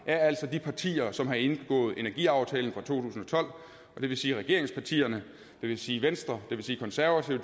er altså de partier som har indgået energiaftalen fra to tusind og tolv det vil sige regeringspartierne det vil sige venstre det vil sige konservative